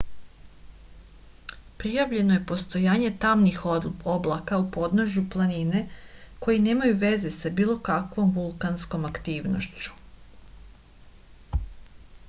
prijavljeno je postojanje tamnih oblaka u podnožju planine koji nemaju veze sa bilo kakvom vulkanskom aktivnošću